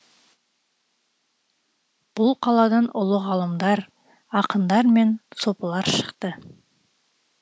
бұл қаладан ұлы ғалымдар ақындар мен сопылар шықты